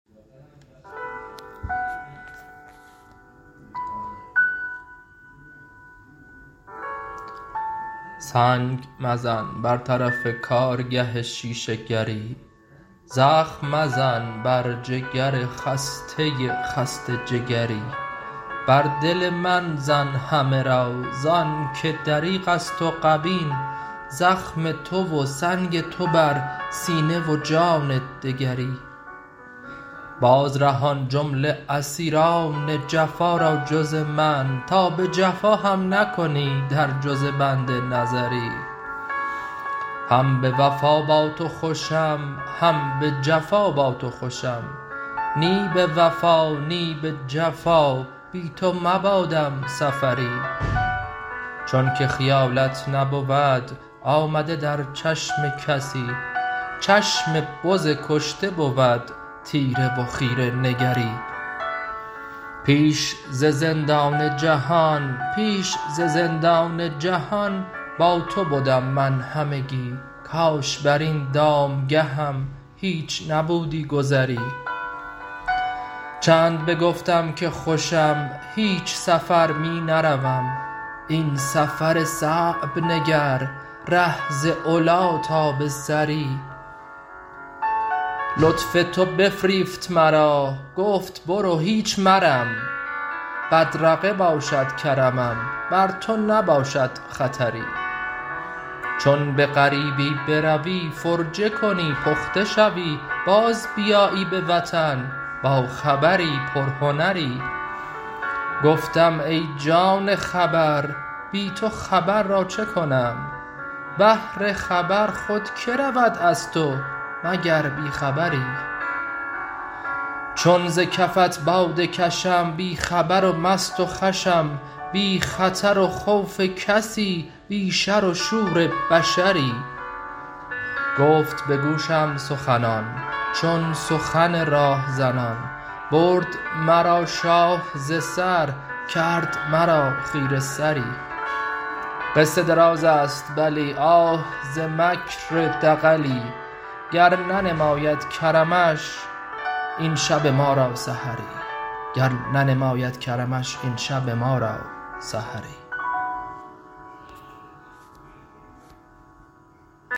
سنگ مزن بر طرف کارگه شیشه گر ی زخم مزن بر جگر خسته خسته جگر ی بر دل من زن همه را ز آنک دریغ است و غبین زخم تو و سنگ تو بر سینه و جان دگری باز رهان جمله اسیر ان جفا را جز من تا به جفا هم نکنی در جز بنده نظری هم به وفا با تو خوشم هم به جفا با تو خوشم نی به وفا نی به جفا بی تو مباد م سفر ی چونک خیالت نبود آمده در چشم کسی چشم بز کشته بود تیره و خیره نگر ی پیش ز زندان جهان با تو بدم من همگی کاش بر این دام گه م هیچ نبودی گذری چند بگفتم که خوشم هیچ سفر می نروم این سفر صعب نگر ره ز علی تا به ثری لطف تو بفریفت مرا گفت برو هیچ مرم بدرقه باشد کرمم بر تو نباشد خطر ی چون به غریبی بروی فرجه کنی پخته شوی باز بیایی به وطن با خبر ی پر هنر ی گفتم ای جان خبر بی تو خبر را چه کنم بهر خبر خود که رود از تو مگر بی خبر ی چون ز کفت باده کشم بی خبر و مست و خوشم بی خطر و خوف کسی بی شر و شور بشر ی گفت به گوشم سخنان چون سخن راه زنان برد مرا شاه ز سر کرد مرا خیره سر ی قصه دراز است بلی آه ز مکر و دغلی گر ننماید کرمش این شب ما را سحر ی